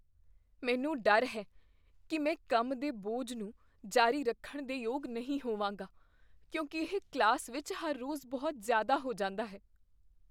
ਮੈਨੂੰ ਡਰ ਹੈ ਕੀ ਮੈਂ ਕੰਮ ਦੇ ਬੋਝ ਨੂੰ ਜਾਰੀ ਰੱਖਣ ਦੇ ਯੋਗ ਨਹੀਂ ਹੋਵਾਂਗਾ ਕਿਉਂਕਿ ਇਹ ਕਲਾਸ ਵਿੱਚ ਹਰ ਰੋਜ਼ ਬਹੁਤ ਜ਼ਿਆਦਾ ਹੋ ਜਾਂਦਾ ਹੈ।